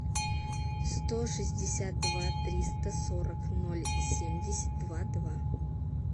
сто шестьдесят два триста сорок ноль семьдесят два два